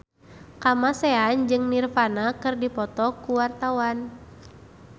Kamasean jeung Nirvana keur dipoto ku wartawan